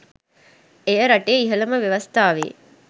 එය රටේ ඉහළම ව්‍යවස්ථාවේ